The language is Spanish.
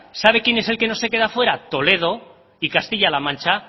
sabe quién es el que no se queda fuera toledo y castilla la mancha